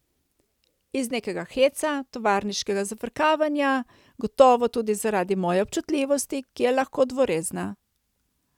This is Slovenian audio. Iz nekega heca, tovariškega zafrkavanja, gotovo tudi zaradi moje občutljivosti, ki je lahko dvorezna.